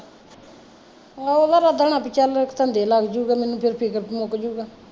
ਆਹੋ ਉਹਦਾ ਇਰਾਦਾ ਹੁਣਾ ਵੀ ਚੱਲ ਧੰਦੇ ਲੱਗਜੂਗਾ ਮੈਂਨੂੰ ਫਿਰ ਫਿਕਰ ਮੁਕੱਜੂਗਾ